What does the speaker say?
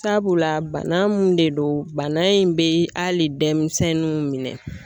Sabula bana mun de don bana in be hali denmisɛnninw minɛ